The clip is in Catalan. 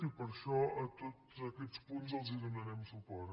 i per això a tots aquests punts els donarem suport